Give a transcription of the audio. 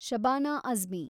Shabana Azmi